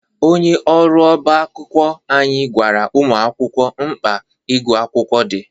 Onye ọrụ ọba akwụkwọ anyị gwara ụmụ akwụkwọ mkpa ịgụ akwụkwọ dị.